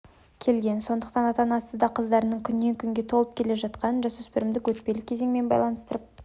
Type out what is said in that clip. келген сондықтан ата анасы да қыздарының күннен күнге толып келе жатқанын жасөспірімдік өтпелі кезеңмен байланыстырып